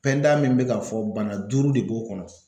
min bɛ k'a fɔ bana duuru de b'o kɔnɔ.